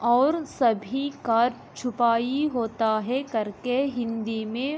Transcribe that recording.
और सभी कार छुपाई होता है कर के हिन्दी मे।